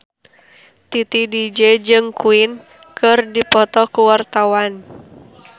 Titi DJ jeung Queen keur dipoto ku wartawan